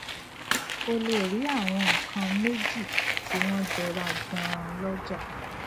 o lè rí àwọn nǹkan méjì tí wón jọra ganan lójà